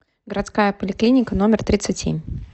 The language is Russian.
городская поликлиника номер тридцать семь